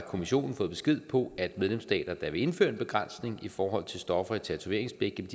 kommissionen fået besked på at medlemsstater der vil indføre en begrænsning i forhold til stoffer i tatoveringsblæk